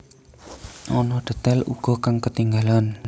Ana detail uga kang ketinggalan